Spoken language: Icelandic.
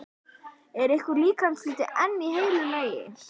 Var einhver líkamshluti enn í heilu lagi?